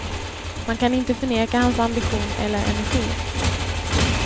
Man kan inte förneka hans ambition eller energi.